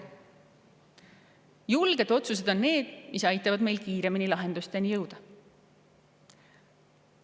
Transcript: Julged otsused on need, mis aitavad meil kiiremini lahendusteni jõuda.